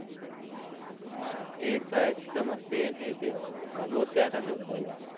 हान एड्स, stomach pain हे ते